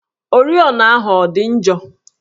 Oriọna ahụ ọ dị njọ?